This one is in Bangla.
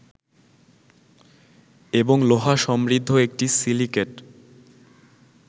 এবং লোহা সমৃদ্ধ একটি সিলিকেট